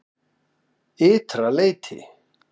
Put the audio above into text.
Ytra leyti